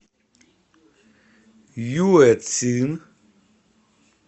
юэцин